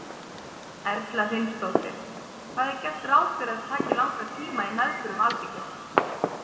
Erla Hlynsdóttir: Hvað er gert ráð fyrir að þetta taki langan tíma í meðförum Alþingis?